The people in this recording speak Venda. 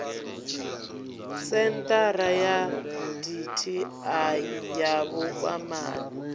senthara ya dti ya vhukwamani